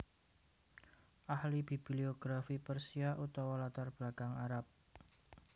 Ahli bibliografi Persia utawa latar belakang Arab